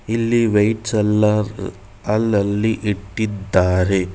ಇಲ್ಲಿ ವೆಯಿಟ್ಸ್ ಎಲ್ಲಾ ಅಲ್ಲಲ್ಲಿ ಇಟ್ಟಿದ್ದಾರೆ.